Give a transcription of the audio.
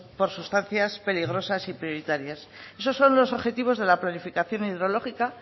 por sustancias peligrosas y prioritarias esos son los objetivos de la planificación hidrológica